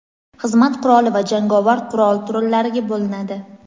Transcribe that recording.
xizmat quroli va jangovar qurol turlariga bo‘linadi.